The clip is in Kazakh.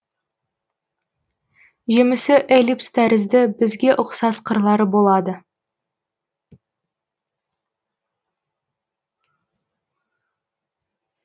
жемісі эллипс тәрізді бізге ұқсас қырлары болады